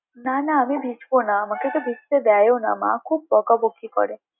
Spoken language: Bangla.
না না আমি ভিজবো না আমাকে তো ভিজতে দেয়ও না মা খুব বকাবকি করে।